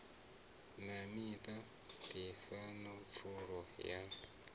na miṱa ṱisano pfulo ya